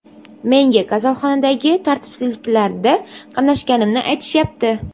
Menga kasalxonadagi tartibsizliklarda qatnashganimni aytishyapti.